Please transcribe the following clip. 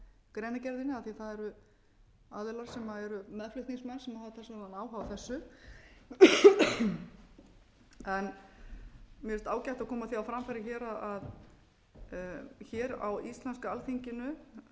aðilar sem eru meðflutningsmenn sem hafa talsverðan áhuga á þessu mér finnst ágætt að koma því á framfæri hér að hér á íslenska alþingi